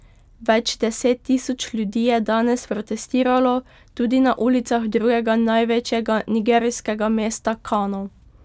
Več deset tisoč ljudi je danes protestiralo tudi na ulicah drugega največjega nigerijskega mesta Kano.